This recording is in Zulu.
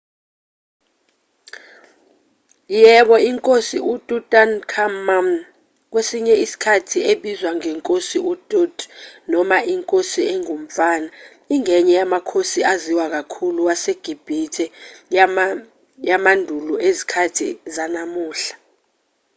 yebo inkosi ututankhamun kwesinye isikhathi ebizwa ngenkosi utut noma inkosi engumfana ingenye yamakhosi aziwa kakhulu wasegibhithe yamandulo ezikhathini zanamuhla